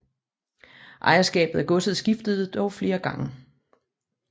Ejerskabet af godset skiftede dog flere gange